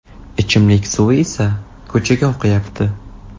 Ichimlik suvi esa ko‘chaga oqayapti.